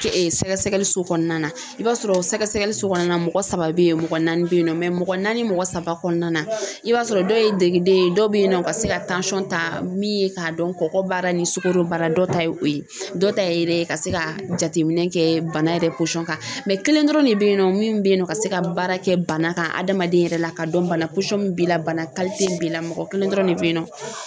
ke sɛgɛsɛgɛliso kɔnɔna na i b'a sɔrɔ sɛgɛsɛgɛliso kɔnɔna na mɔgɔ saba bɛ yen mɔgɔ naani bɛ yen nɔ mɔgɔ naani mɔgɔ saba kɔnɔna na i b'a sɔrɔ dɔw ye degiden ye dɔ bɛ yen nɔ ka se ka ta min ye k'a dɔn kɔgɔ b'ara ni sukaro b'ara dɔw ta ye o ye dɔw ta ye ka se ka jateminɛ kɛ bana yɛrɛ kan kelen dɔrɔn de bɛ yen nɔ min bɛ yen nɔ ka se ka baara kɛ bana ka adamaden yɛrɛ la k'a dɔn bana b'i la bana b'i la mɔgɔ kelen dɔrɔn de bɛ yen nɔ